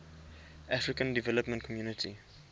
african development community